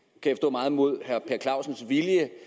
meget imod herre per clausens vilje